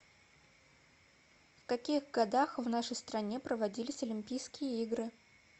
в каких годах в нашей стране проводились олимпийские игры